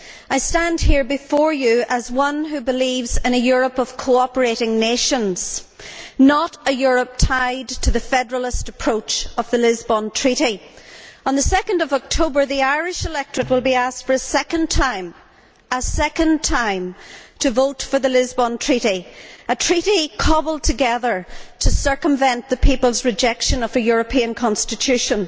I stand here before you as one who believes in a Europe of cooperating nations, not a Europe tied to the federalist approach of the Lisbon Treaty. On 2 October, the Irish electorate will be asked for a second time to vote for the Lisbon Treaty, a treaty cobbled together to circumvent the people's rejection of a European Constitution.